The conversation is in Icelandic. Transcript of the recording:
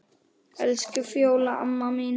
Elsku Fjóla amma mín.